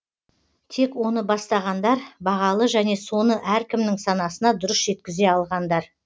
тек оны бастағандар бағалы және соны әркімнің санасына дұрыс жеткізе алғандар